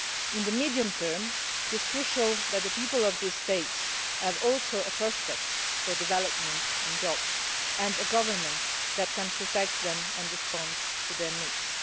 In the medium term, it is crucial that the people of these states also have the prospect of development and jobs and a government that can protect them and respond to their needs.